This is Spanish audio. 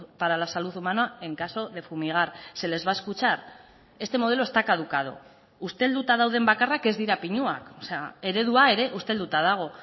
para la salud humana en caso de fumigar se les va a escuchar este modelo esta caducado ustelduta dauden bakarrak ez dira pinuak eredua ere ustelduta dago